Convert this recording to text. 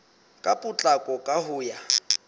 ka potlako ka ho ya